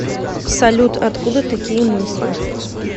салют откуда такие мысли